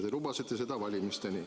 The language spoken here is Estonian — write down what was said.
Te lubasite seda valimistel.